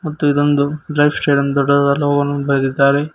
ಮತ್ತು ಇದೊಂದು lifestyle ದೊಡ್ಡದಾ ಬರೆದಿದ್ದಾರೆ.